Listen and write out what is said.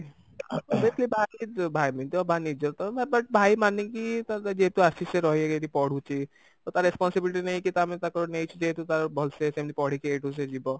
ଭାଇ ଏମିତି ତ ନିଜର ତ but ଭାଇ ମାନିକି ଯେହେତୁ ଆସିଛି ସେ ରହିକି ଏଠି ପଢୁଛି ତ ତା responsibility ନେଇକି ତ ଆମେ ତାକୁ ନେଇଛୁ ଯେହେତୁ ତାର ଭଲସେ ସେମିତି ପଢିକି ଏଉଠୁ ସେ ଯିବ